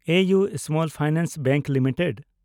A U small finance bank limited